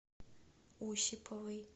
осиповой